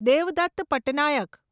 Devdatt Pattanaik